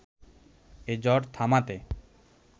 এ ঝড় থামাতে